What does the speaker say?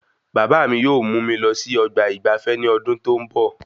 Bàbá mí yóò mú mi lọ sí ọgbà ìgbafé ní ọdún tó n bọ